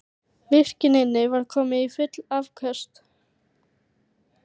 Virkjunin var komin í full afköst